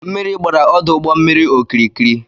Mmiri gbara ọdụụgbọmmiri okirikiri